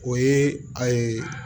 O ye a ye